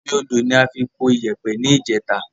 Omi odò ni a fi po iyèpè ni ìjèta